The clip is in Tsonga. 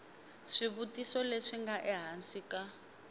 swivutiso leswi nga ehansi ka